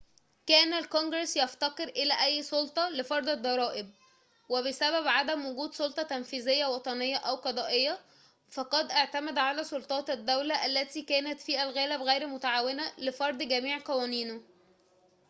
كان الكونجرس يفتقر إلى أي سلطة لفرض الضرائب وبسبب عدم وجود سلطة تنفيذية وطنية أو قضائية فقد اعتمد على سلطات الدولة التي كانت في الغالب غير متعاونة لفرض جميع قوانيه